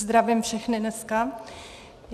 Zdravím všechny dneska.